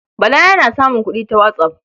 Bala yana samun kuɗi ta whatsApp.